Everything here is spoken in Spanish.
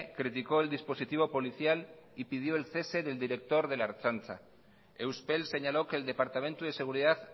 criticó el dispositivo policial y pidió el cese del director de la ertzaintza euspel señaló que el departamento de seguridad